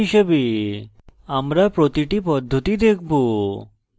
file হিসাবে আমরা প্রতিটি পদ্ধতি দেখব